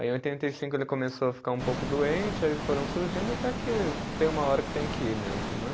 Aí em oitenta e cinco ele começou a ficar um pouco doente, aí foram surgindo até que tem uma hora que tem que ir mesmo, né?